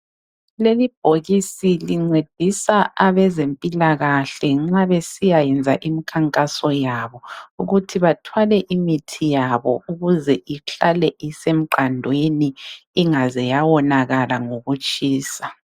Leli bhokisi lincedisa abezempilakahle nxa besiya yenza imikhankaso yabo ukuthi bathwale imithi yabo ukuze ihlale isemqandweni ingaze yawonakala ngokutshisa.